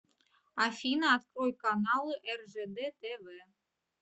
афина открой каналы ржд тв